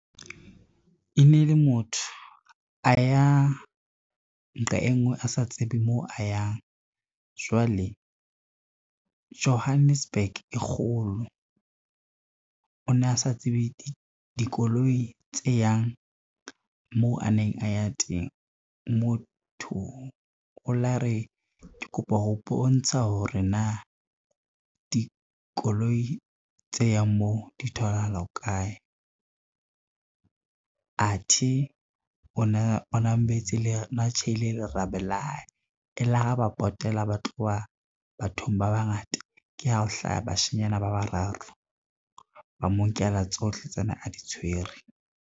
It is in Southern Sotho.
E ne le motho a ya nqa e ngwe, a sa tsebe mo a yang jwale Johannesburg e kgolo, o na sa tsebe dikoloi tse yang moo a neng a ya teng. Motho o la re ke kopa ho bontsha hore na dikoloi tse yang moo di tholahala kae, athe o na tjheile lerabe la hae, e la re ha ba potela ba tloha bathong ba bangata, ke ha ho hlaha bashanyana ba bararo ba mo nkela tsohle tse ane a di tshwere.